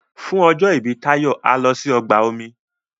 fún ọjọ ibi Tayo a lò sí ọgbà omi